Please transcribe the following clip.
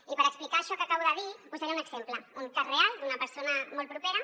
i per explicar això que acabo de dir posaré un exemple un cas real d’una persona molt propera